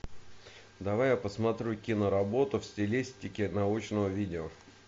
давай я посмотрю киноработу в стилистике научного видео